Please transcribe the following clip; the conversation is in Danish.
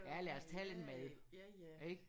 Ja lad os tage lidt mad ik